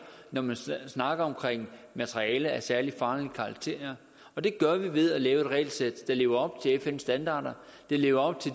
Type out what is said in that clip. når man snakker om materiale af særlig farlig karakter og det gør vi ved at lave et regelsæt der lever op fns standarder der lever op til